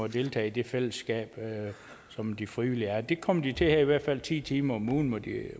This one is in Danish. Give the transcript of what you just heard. deltage i det fællesskab som de frivillige er det kommer de til her i hvert fald ti timer om ugen må de